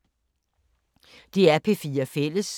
DR P4 Fælles